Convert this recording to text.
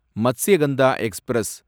Matsyagandha express